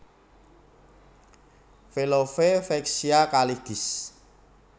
Velove Vexia Kaligis